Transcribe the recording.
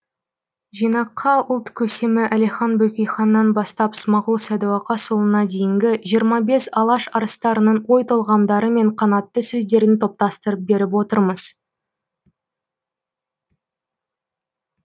жинаққа ұлт көсемі әлихан бөкейханнан бастап смағұл сәдуақасұлына дейінгі жиырма бес алаш арыстарының ой толғамдары мен қанатты сөздерін топтастырып беріп отырмыз